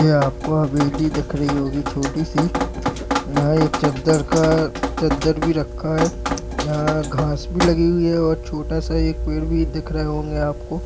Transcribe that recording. यहँ आपको हवेली दिख रही होगी छोटी सी। यहाँ एक चद्दर का चद्दर भी रखा है। यहाँ घांस भी लगी हुई है और छोटा सा एक पेड़ भी दिख रहे होंगे आपको।